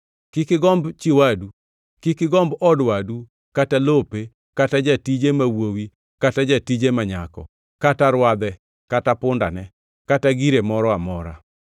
Kik igomb chi wadu. Kik igomb od wadu kata lope kata jatije ma wuowi kata jatije ma nyako, kata rwadhe, kata pundane kata gire moro amora.”